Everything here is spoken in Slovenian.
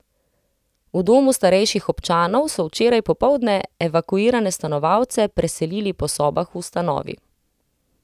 V Domu starejših občanov so včeraj popoldne evakuirane stanovalce preselili po sobah v ustanovi.